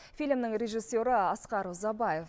фильмнің режиссері асқар ұзабаев